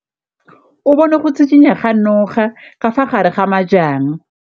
O bone go tshikinya ga noga ka fa gare ga majang.